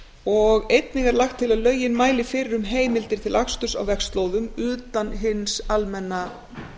og einnig er lagt til að lögin mæli fyrir um heimildir til aksturs á vegslóðum utan hins almenna